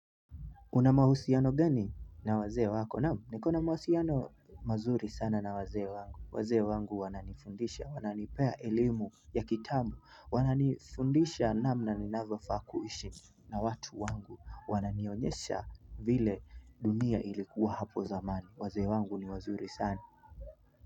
Una mahusiano gani na wazee wako naam? Nikona mahusiano mazuri sana na wazee wangu. Wazee wangu wananifundisha, wananipea elimu ya kitambo. Wananifundisha namna ninavyofaa kuishi na watu wangu. Wananionyesha vile dunia ilikuwa hapo zamani. Wazee wangu ni wazuri sana.